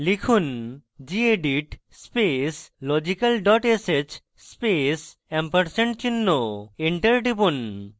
লিখুন: gedit space logical dot sh space & চিহ্ন enter টিপুন